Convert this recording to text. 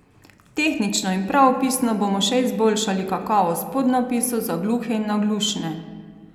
Tehnično in pravopisno bomo še izboljšali kakovost podnapisov za gluhe in naglušne.